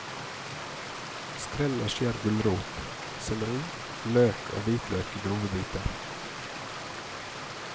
Skrell og skjær gulrot, selleri, løk og hvitløk i grove biter.